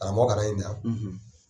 K'a bɔ kalan in na;